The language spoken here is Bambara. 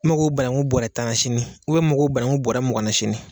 Mago banaŋu bɔrɛ tan na sini u bɛ n mago banaŋu bɔrɛ mugan na sini.